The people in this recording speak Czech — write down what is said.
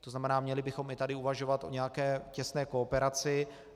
To znamená, měli bychom i tady uvažovat o nějaké těsné kooperaci.